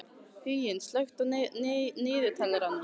Huginn, slökktu á niðurteljaranum.